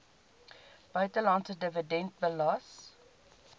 buitelandse dividend belas